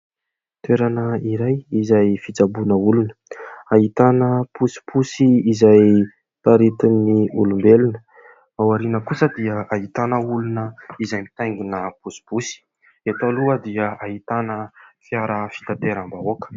Toerana iray izay fitsaboana olona ahitana posiposy izay taritin'ny olombelona. Ao aoriana kosa dia ahitana olona izay mitaingina posiposy, eto aloha dia ahitana fiara fitateram-bahoaka.